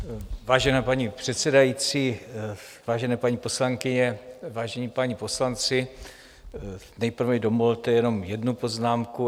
Vážená paní předsedající, vážené paní poslankyně, vážení páni poslanci, nejprve mi dovolte jenom jednu poznámku.